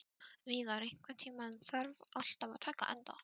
Víðar, einhvern tímann þarf allt að taka enda.